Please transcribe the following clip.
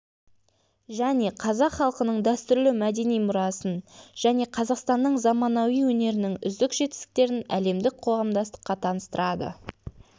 және қазақ халқының дәстүрлі мәдени мұрасын және қазақстанның заманауи өнерінің үздік жетістіктерін әлемдік қоғамдастыққа таныстырады